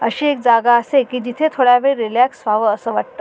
अशी एक जागा असे की जिथे थोडा वेळ रीलॅक्स व्हाव अस वाटत.